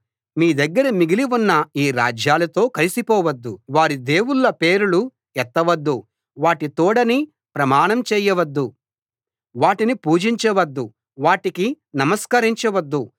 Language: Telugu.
మీ దగ్గర మిగిలి ఉన్న ఈ రాజ్యాలతో కలిసిపోవద్దు వారి దేవుళ్ళ పేరులు ఎత్తవద్దు వాటి తోడని ప్రమాణం చేయవద్దు వాటిని పూజించవద్దు వాటికి నమస్కరించవద్దు